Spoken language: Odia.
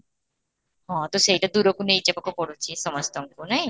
ହଁ, ତ ସେଇଟା ଦୁରକୁ ନେଇ ଯିବାକୁ ପଡୁଛି ସମସ୍ତଙ୍କୁ ନାଇଁ?